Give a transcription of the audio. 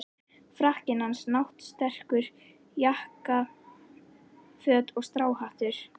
Frakkinn hans, náttserkur, jakkaföt og stráhattur.